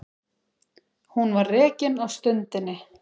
Hún var rekin á stundinni